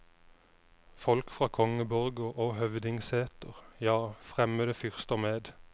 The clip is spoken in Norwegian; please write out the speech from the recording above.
Folk fra kongeborger og høvdingseter, ja, fremmede fyrster med.